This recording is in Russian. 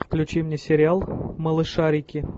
включи мне сериал малышарики